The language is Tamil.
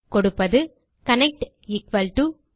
கொடுப்பது கனெக்ட் mysql connect